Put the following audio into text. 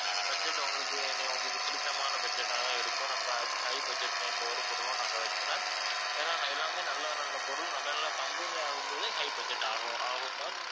budget உங்களுக்கு நீ~ உங்களுக்கு பிடிச்சமான budget ஆ தான் இருக்கும் நம்ம hi~ high budget ல எந்த ஒரு பொருளும் நாங்க வைக்கல ஏன்னா ந~ எல்லாமே நல்ல நல்ல பொருள் நல்ல நல்ல company ஆகும் போதே high budget ஆகும் ஆகும் ma'am